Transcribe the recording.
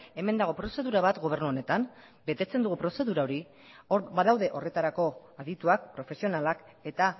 hemen dago prozedura bat gobernu honetan betetzen dugu prozedura hori hor badaude horretarako adituak profesionalak eta